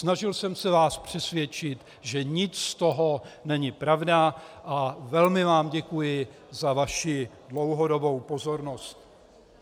Snažil jsem se vás přesvědčit, že nic z toho není pravda, a velmi vám děkuji za vaši dlouhodobou pozornost.